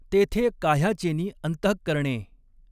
तेथे काह्याचेनि अंतहकरणें।